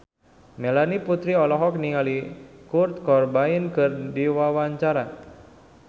Melanie Putri olohok ningali Kurt Cobain keur diwawancara